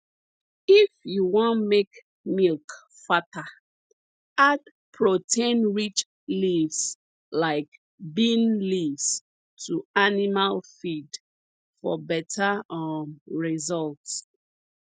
if you wan make milk fatter add proteinrich leaves like bean leaves to animal feed for better um results